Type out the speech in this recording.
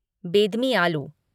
बेडमी आलू